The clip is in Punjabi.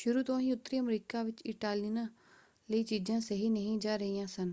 ਸ਼ੁਰੂ ਤੋਂ ਹੀ ਉੱਤਰੀ ਅਮਰੀਕਾ ਵਿੱਚ ਇਟਾਲੀਅਨਾਂ ਲਈ ਚੀਜ਼ਾਂ ਸਹੀ ਨਹੀਂ ਜਾ ਰਹੀਆਂ ਸਨ।